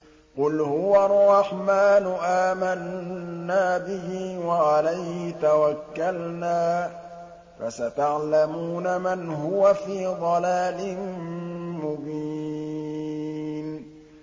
قُلْ هُوَ الرَّحْمَٰنُ آمَنَّا بِهِ وَعَلَيْهِ تَوَكَّلْنَا ۖ فَسَتَعْلَمُونَ مَنْ هُوَ فِي ضَلَالٍ مُّبِينٍ